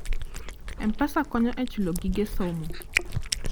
M-Pesa konyo e chulo gige somo.